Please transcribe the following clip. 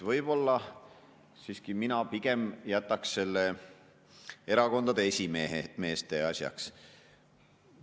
Nii et mina pigem jätaks selle erakondade esimeeste asjaks.